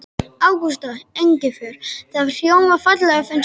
Ágústa Engifer. það hljómar fallega, finnst þér ekki?